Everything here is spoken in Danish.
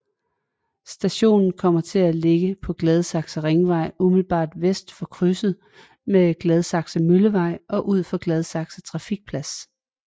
Stationen kommer til at ligge på Gladsaxe Ringvej umiddelbart vest for krydset med Gladsaxe Møllevej og ud for Gladsaxe Trafikplads